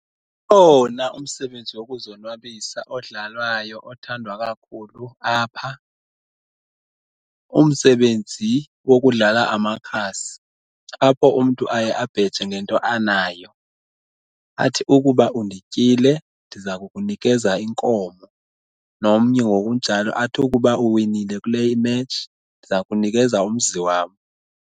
Ukhona umsebenzi wokuzonwabisa odlalwayo othandwa kakhulu apha, umsebenzi wokudlala amakhasi apho umntu aye abheje ngento anayo athi ukuba undityile ndiza kukunikeza inkomo, nomnye ngokunjalo athi ukuba uwinile kule imetshi ndiza kunikeza umzi wam.